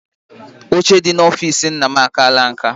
Oche dị n'ọfici nna m akaala nka.